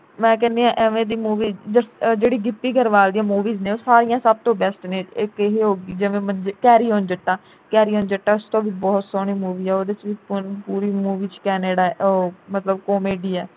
ਮੈਂ ਕਹਿੰਦੀ ਐ ਇਵੇਂ ਦੀ movie ਜਿਹੜੀ ਗਿੱਪੀ ਗਰੇਵਾਲ ਦੀਆਂ movies ਨੇ ਉਹ ਸਾਰੀਆਂ ਸਭ ਤੋਂ best ਨੇ ਇਕ ਇਹ ਹੋ ਗਈ। ਜਿਵੇਂ carry on jatta ਉਸ ਤੋਂ ਵੀ ਬਹੁਤ ਸੋਹਣੀ movie ਐ ਉਹਦੇ ਵੀ ਪੂਰੀ movie ਵਿਚ canada ਐ ਉਹ ਮਤਲਬ comedy ਐ